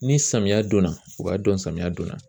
Ni samiya donna, u b'a dɔn samiya donna.